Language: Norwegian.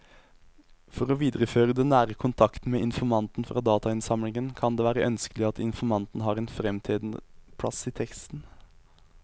For å videreføre den nære kontakten med informanten fra datainnsamlingen kan det være ønskelig at informanten har en fremtredende plass i teksten.